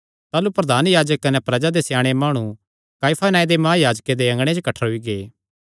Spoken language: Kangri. ताह़लू प्रधान याजक कने प्रजा दे स्याणे माणु काइफा नांऐ दे महायाजके दे अँगणे च कठ्ठरोई गै